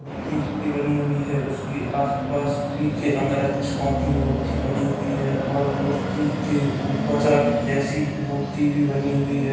प्रतीक की बनी हुई है उसके आस-पास पिखे अंगरक्षकों की मूर्ति बनी हुई है और मूर्तियों के ऊपर सर्प जैसी मूर्ति भी बनी हुई है।